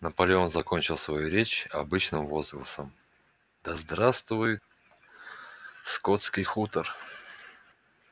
наполеон закончил свою речь обычным возгласом да здравствует скотский хутор